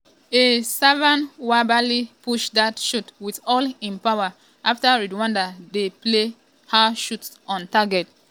a savenwabali push dat shot wit all im power afta rwanda play long low shot on target.